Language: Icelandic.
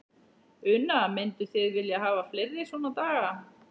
Una: Mynduð þið vilja hafa fleiri svona daga?